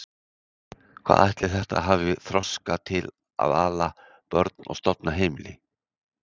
Hvað ætli þetta hafi þroska til að ala börn og stofna heimili!